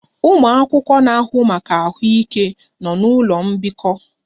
Ụmụ akwụkwọ na-ahụ maka ahụike nọ n'ụlọ mbikọ